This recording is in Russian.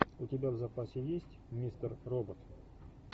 у тебя в запасе есть мистер робот